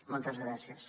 moltes gràcies